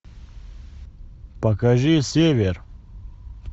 покажи север